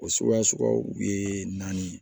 O suguya suguyaw u ye naani